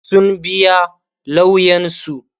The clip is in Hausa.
sun biya lauyansu